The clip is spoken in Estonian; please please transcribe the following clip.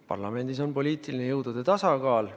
Parlamendis on poliitiline jõudude tasakaal.